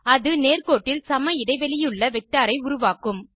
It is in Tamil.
அது நேர்கோட்டில் சம இடைவெளியுள்ள வெக்டர் ஐ உருவாக்கும்